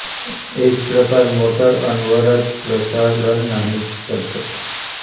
इस प्रकार मोटर अनवरत प्रचालन नहीं कर सकता